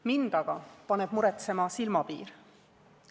Mind aga paneb muretsema silmapiir.